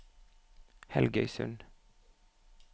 Helgøysund